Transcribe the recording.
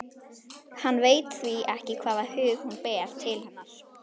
Hann veit því ekki hvaða hug hún ber til hennar.